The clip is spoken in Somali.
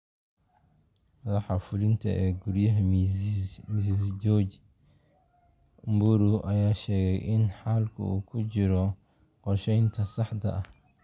Madaxa fulinta ee guryaha Mizizi George Mburu ayaa sheegay in xalku uu ku jiro qorshaynta saxda ah.